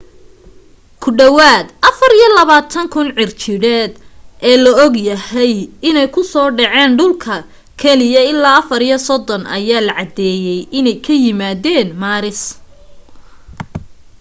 ku dhawaad 24,000 cirjiidheed ee la og yahay inay ku soo dhaceen dhulka keliya ilaa 34 ayaa la caddeeyay inay ka yimaadeen maaris